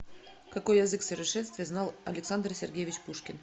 какой язык в совершенстве знал александр сергеевич пушкин